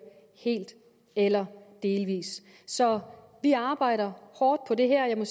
helt eller delvis så vi arbejder hårdt på det her